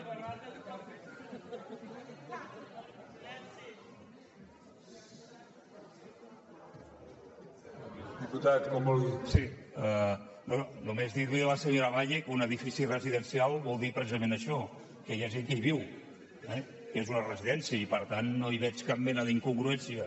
sí no només dir li a la senyora valle que un edifici residencial vol dir precisament això que hi ha gent que hi viu eh que és una residència i per tant no hi veig cap mena d’incongruència